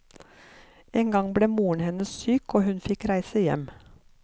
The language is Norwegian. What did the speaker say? En gang ble moren hennes syk, og hun fikk reise hjem.